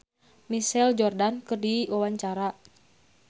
Nowela olohok ningali Michael Jordan keur diwawancara